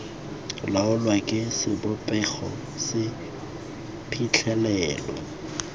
laolwa ke sebopego se phitlhelelo